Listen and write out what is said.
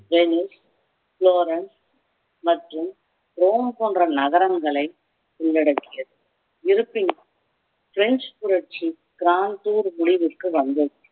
Lenin Florence மற்றும் Rome போன்ற நகரங்களை உள்ளடக்கியது இருப்பினும் பிரெஞ்சு புரட்சி முடிவுக்கு வந்தது